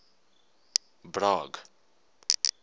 bragg